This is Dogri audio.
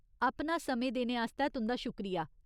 अपना समें देने आस्तै तुं'दा शुक्रिया !